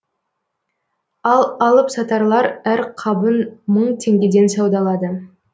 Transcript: ал алып сатарлар әр қабын мың теңгеден саудалады